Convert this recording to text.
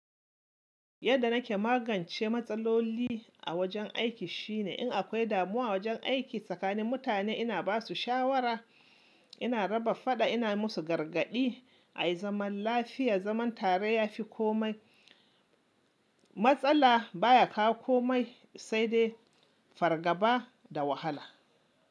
Yadda nake magance matsaloli a wajen aiki shine in akwai damuwa a wajen aiki tsakanin mutane ina basu shawara, ina raba faɗa, ina musu gargaɗi ayi zaman lafiya, zaman tare yafi komai matsala baya kawo komai saidai fargaba da wahala.